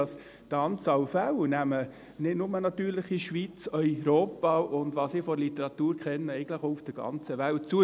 Die Anzahl Fälle nimmt natürlich nicht nur in der Schweiz, sondern in Europa, und wie ich es aus der Literatur kenne, eigentlich auch auf der ganzen Welt zu.